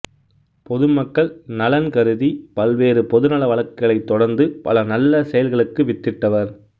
பொதுமக்கள் நலன் கருதி பல்வேறு பொதுநல வழக்குகளைத் தொடர்ந்து பல நல்ல செயல்களுக்கு வித்திட்டவர்